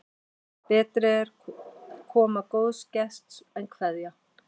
Betri er koma góðs gests en kveðja.